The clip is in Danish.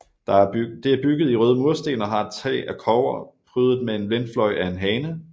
Det er bygget i røde mursten og har et tag af kobber prydet med en vindfløj af en hane